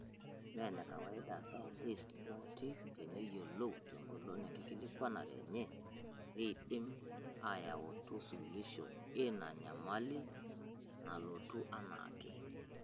Meenekawaida isayantist ooti teneyiolou tengolon enkikilikwanare enye peidim ayautu suluisho eina nyamali napuonu enake.